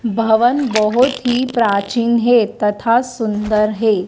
भवन बहुत ही प्राचीन है तथा सुंदर है।